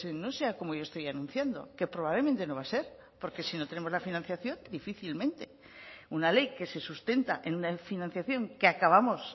no sea como yo estoy anunciando que probablemente no va a ser porque si no tenemos la financiación difícilmente una ley que se sustenta en una financiación que acabamos